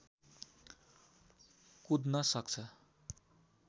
कुद्न सक्छ